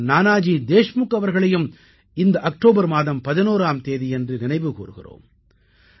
பாரத் ரத்னா நானாஜி தேஷ்முக் அவர்களையும் இந்த அக்டோபர் மாதம் 11ஆம் தேதியன்று நினைவு கூர்கிறோம்